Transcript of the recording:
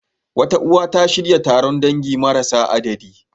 Wata uwa, ta shirya taron dangi marasa adadi.